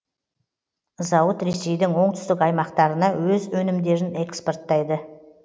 зауыт ресейдің оңтүстік аймақтарына өз өнімдерін экспорттайды